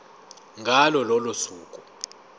ngalo lolo suku